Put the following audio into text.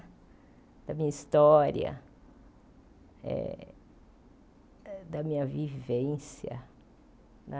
Da minha história, eh da minha vivência, né?